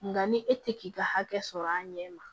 Nka ni e tɛ k'i ka hakɛ sɔrɔ a ɲɛ ma